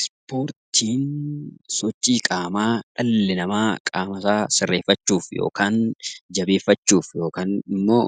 Ispoortiin sochii qaamaa dhalli namaa qaama isaa sirreeffachuuf yookaan jabeeffachuuf yookaan immoo